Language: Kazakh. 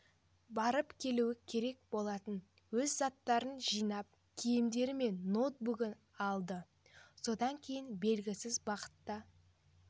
барып келуі керек болаты өз заттарын жинап киімдері мен ноутбугын алды содан кейін белгісіз бағытта